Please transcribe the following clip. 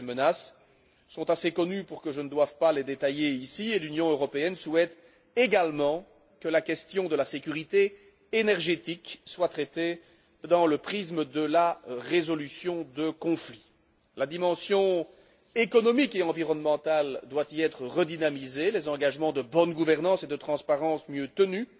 Ces menaces sont assez connues pour que je ne doive pas les détailler ici, et l'Union européenne souhaite également que la question de la sécurité énergétique soit traitée dans le prisme de la résolution de conflits. La dimension économique et environnementale doit y être redynamisée, les engagements de bonne gouvernance et de transparence mieux tenus,